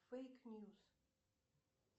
фейк ньюс